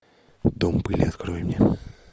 дом пыли открой мне